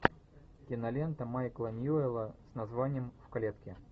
кинолента майкла ньюэлла с названием в клетке